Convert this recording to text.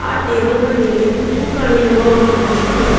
ಆ ಟೇಬಲ್ನ ಮೇಲೆ ತೂಕ ಅಳೆಯುವ ಒಂದು ಮೆಷೀನ್ ಇದೆ.